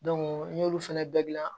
n y'olu fɛnɛ bɛɛ gilan